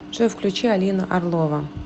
джой включи алина орлова